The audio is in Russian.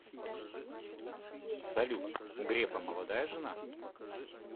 салют у грефа молодая жена